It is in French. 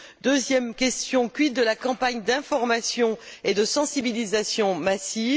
Deuxième question quid de la campagne d'information et de sensibilisation massive?